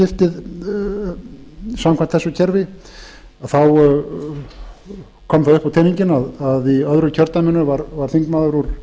skiptið samkvæmt þessu kerfi kom það upp á teninginn að í öðru kjördæminu varð þingmaður úr